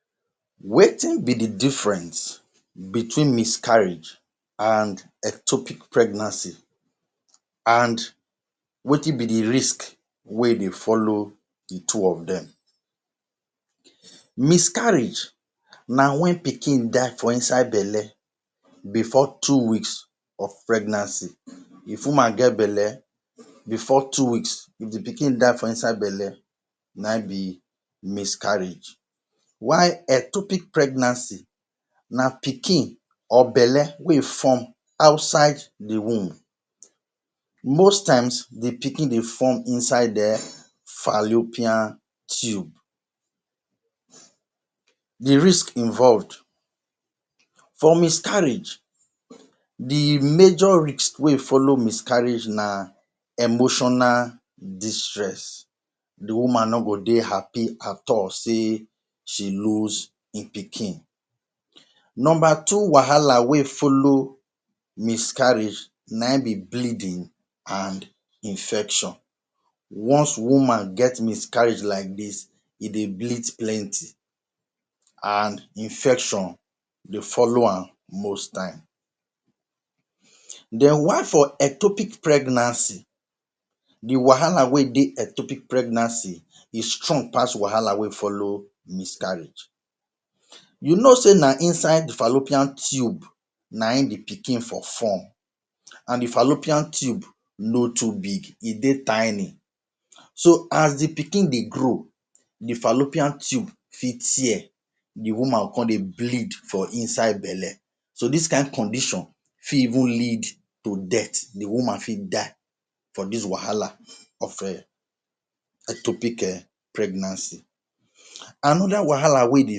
Transcription - Miscarriage vs Ectopic Pregnancy Wetin be the difference between miscarriage and ectopic pregnancy? And wetin be the risk wey dey follow the two of dem? Miscarriage na when pikin die for inside belle before two weeks of pregnancy. If woman get belle, before two weeks the pikin die for inside belle, na yin be miscarriage. While ectopic pregnancy, na pikin or belle wey form outside the womb. Most times, the pikin dey form inside the fallopian tube. The Risk Involved For miscarriage, the major risk wey follow miscarriage na emotional distress. The woman no go dey happy at all say she lose e pikin. Number two wahala wey follow miscarriage na yin be bleeding and infection. Once woman get miscarriage like dis, e dey bleed plenty and infection dey follow am most times. Then, while for ectopic pregnancy, the wahala wey dey ectopic pregnancy strong pass the wahala wey follow miscarriage. You know say na inside fallopian tube na yin the pikin for form, and the fallopian tube no too big, e dey tiny. So, as the pikin dey grow, the fallopian tube fit tear, and the woman go con dey bleed for inside belle. So, dis kind condition fit even lead to death. The woman fit die for dis wahala of eh! ectopic eh! pregnancy. Another wahala wey dey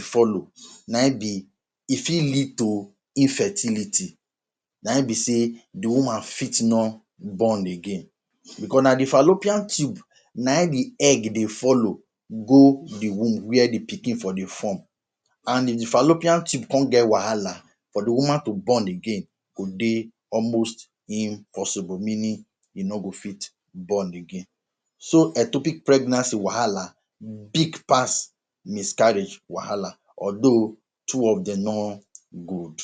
follow na yin be say e fit lead to infertility. Na yin be say the woman fit no born again, 'cause na the fallopian tube na yin the egg dey follow go the womb where the pikin for dey form. And if the fallopian tube con get wahala, for the woman to born again go dey almost impossible. E mean say the woman no go fit born again. So, ectopic pregnancy wahala big pass miscarriage wahala, although, two of them no good.